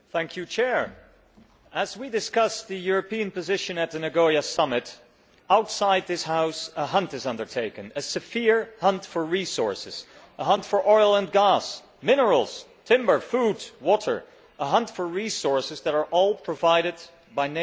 Madam President, as we discuss the European position at the Nagoya Summit, outside this House, a hunt is being undertaken a relentless hunt for resources, a hunt for oil and gas, minerals, timber, food and water, a hunt for resources that are all provided by nature.